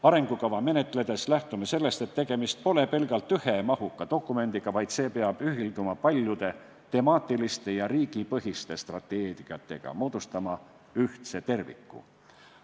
Arengukava menetledes lähtume sellest, et tegemist pole pelgalt ühe mahuka dokumendiga, vaid see peab ühilduma paljude temaatiliste ja riigipõhiste strateegiatega, moodustama ühtse terviku.